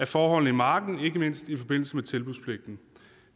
forholdene i marken ikke mindst i forbindelse med tilbudspligten